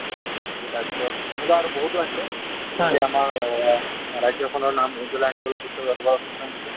তাৰ পিছত তেনেকুৱা আৰু বহুটো আছে , তোমাৰ আ ৰাজ্য খনৰ নাম উজলাই আনিবলৈ বিশ্ব দৰবাৰত